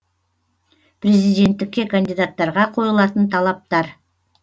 президенттікке кандидаттарға қойылатын талаптар